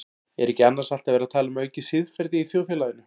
Er ekki annars alltaf verið að tala um aukið siðferði í þjóðfélaginu?